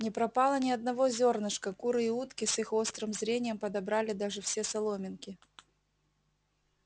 не пропало ни одного зёрнышка куры и утки с их острым зрением подобрали даже все соломинки